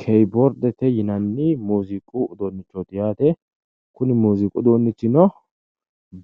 Kibordete yinanni muziiqu uduunichooti yaate. Kuni muuziqu uduunnichino